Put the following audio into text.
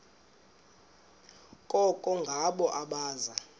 koko ngabo abaza